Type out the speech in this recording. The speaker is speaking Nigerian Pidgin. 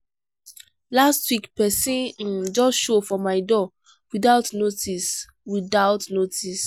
last week pesin um just show for my door without notice. without notice.